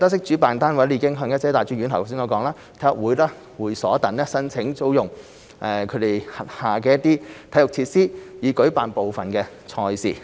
主辦單位已向一些大專院校、體育會和會所等申請租用其轄下體育設施以舉辦部分賽事。